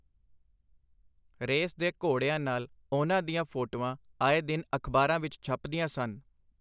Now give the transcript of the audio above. Race ਦੇ ਘੋੜਿਆਂ ਨਾਲ ਉਹਨਾਂ ਦੀਆਂ ਫੋਟੋਆਂ ਆਏ ਦਿਨ ਅਖਬਾਰਾਂ ਵਿਚ ਛਪਦੀਆਂ ਸਨ.